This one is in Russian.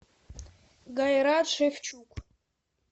гайрат шевчук